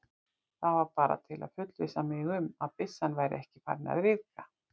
Það var bara til að fullvissa mig um, að byssan væri ekki farin að ryðga